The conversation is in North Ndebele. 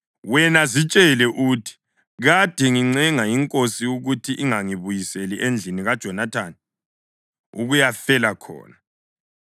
wena zitshele uthi, ‘Kade ngincenga inkosi ukuthi ingangibuyiseli endlini kaJonathani ukuyafela khona.’ ”